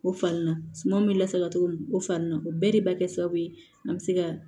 O fan na suman bɛ lasago cogo min o fa ni na o bɛɛ de bɛ kɛ sababu ye an bɛ se ka